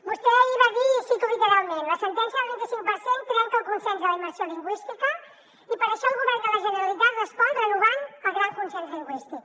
vostè ahir va dir i ho cito literalment la sentència del vint i cinc per cent trenca el consens de la immersió lingüística i per això el govern de la generalitat hi respon renovant el gran consens lingüístic